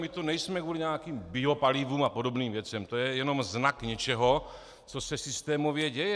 My tu nejsme kvůli nějakým biopalivům a podobným věcem, to je jenom znak něčeho, co se systémově děje.